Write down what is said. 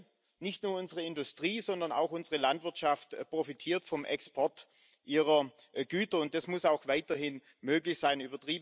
Denn nicht nur unsere Industrie, sondern auch unsere Landwirtschaft profitiert vom Export ihrer Güter, und das muss auch weiterhin möglich sein.